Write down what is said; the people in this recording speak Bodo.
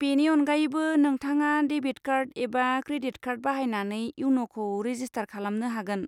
बेनि अनगायैबो, नोंथाङा डेबिद कार्ड एबा क्रेडिद कार्ड बाहायनानै इयन'खौ रेजिस्टार खालामनो हागोन।